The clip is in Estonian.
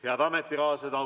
Head ametikaaslased!